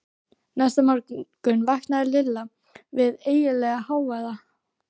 Næsta morgun vaknaði Lilla við ægilegan hávaða.